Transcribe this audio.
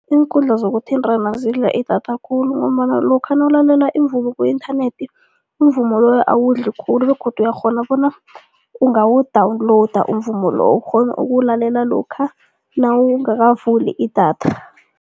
Iinkundla zokuthintana zidla idatha khulu ngombana lokha nawulalele umvumo ku-internet, umvumo loyo awudli khulu begodu uyakghona bona ungawu-downloader umvumo loyo ukghone ukuwulalela lokha nawungakavuli idatha.